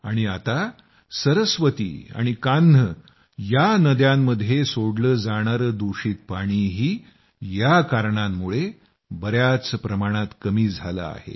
आणि आता या कारणांमुळे सरस्वती आणि कान्ह या नद्यांमध्ये सोडले जाणारे दूषित पाणीही बयाच प्रमाणात कमी झाले आहे